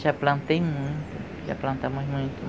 Já plantei muito, já plantamos muito.